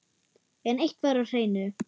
En eitt var á hreinu.